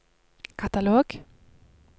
katalog